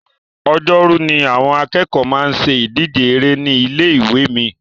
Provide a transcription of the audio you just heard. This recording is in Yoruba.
Ọjọ́rú ni àwọn akẹ́kọ̀ọ́ máa ń ṣe ìdíje eré ní ilé ìwé mi